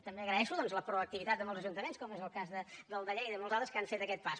també agraeixo doncs la proactivitat de molts ajuntaments com és el cas del de lleida i molts altres que han fet aquest pas